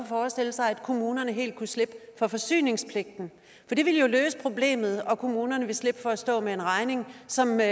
forestille sig at kommunerne helt kunne slippe for forsyningspligten det ville jo løse problemet og kommunerne ville slippe for at stå med en regning som er